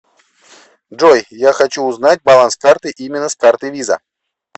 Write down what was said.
джой я хочу узнать баланс карты именно с карты виза